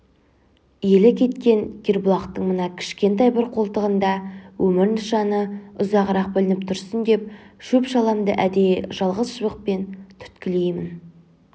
елі кеткен кербұлақтың мына кішкентай бір қолтығында өмір нышаны ұзағырақ білініп тұрсын деп шөп-шаламды әдейі жалғыз шыбықпен түрткілеймін